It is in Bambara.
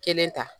Kelen ta